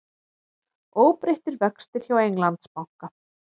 Óbreyttir vextir hjá Englandsbanka